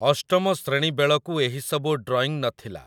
ଅଷ୍ଟମ ଶ୍ରେଣୀ ବେଳକୁ ଏହିସବୁ ଡ୍ରଇଂ ନ ଥିଲା ।